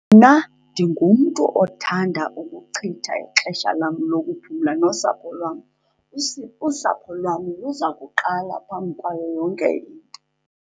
Mna ndingumntu othanda ukuchitha ixesha lam lokuphumla nosapho lwam. Usapho lwam luza kuqala phambi kwayo yonke into.